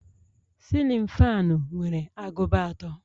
cillin fanu nwere agụba atọ